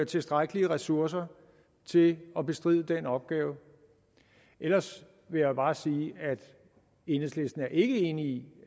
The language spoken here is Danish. tilstrækkelige ressourcer til at bestride den opgave ellers vil jeg bare sige at enhedslisten ikke er enig i